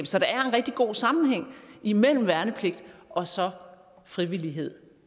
så der er en rigtig god sammenhæng imellem værnepligt og så frivillighed